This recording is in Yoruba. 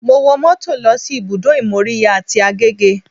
Mo wo mọ́tò lọ sí ibùdó ìmóríyá tí Agege